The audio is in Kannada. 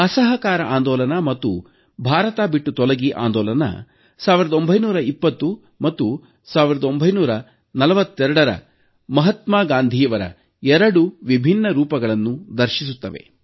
ಅಸಹಕಾರ ಆಂದೋಲನ ಮತ್ತು ಭಾರತ ಬಿಟ್ಟು ತೊಲಗಿ ಆಂದೋಲನ ಮಹಾತ್ಮ ಗಾಂಧೀಯವರ ಎರಡು ವಿಭಿನ್ನ ರೂಪಗಳನ್ನು ಸಾದರಪಡಿಸುತ್ತವೆ